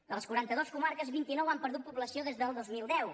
de les quaranta dues comarques vint i nou han perdut població des del dos mil deu